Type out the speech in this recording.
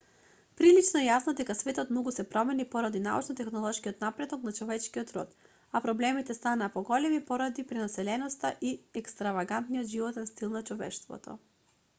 прилично е јасно дека светот многу се промени поради научно-технолошкиот напредок на човечкиот род а проблемите станаа поголеми поради пренаселеноста и екстравагантниот животен стил на човештвото